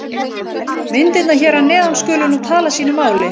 Myndirnar hér að neðan skulu nú tala sínu máli.